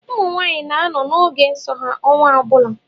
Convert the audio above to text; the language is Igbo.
Ụmụnwaanyị na-anọ n’oge nso ha ọnwa ọbụla